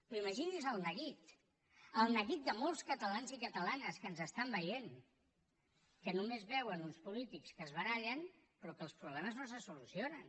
però imagini’s el neguit el neguit de molts catalans i catalanes que ens estan veient que només veuen uns polítics que es barallen però que els problemes no se solucionen